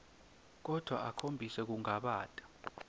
kodvwa akhombise kungabata